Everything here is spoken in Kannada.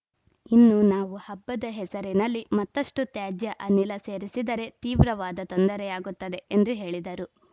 ಇನ್ನು ನಾವು ಹಬ್ಬದ ಹೆಸರಿನಲ್ಲಿ ಮತ್ತ್ತಷ್ಟುತ್ಯಾಜ್ಯ ಅನಿಲ ಸೇರಿಸಿದರೆ ತೀವ್ರವಾದ ತೊಂದರೆಯಾಗುತ್ತದೆ ಎಂದು ಹೇಳಿದರು